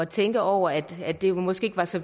tænke over at at det måske ikke var så